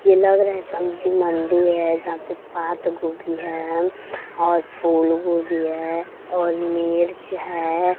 ये लग रहा है। सब्जी मंडी है। जहाँ पे पात गोभी है और फुल वुल भी है और मिर्च है।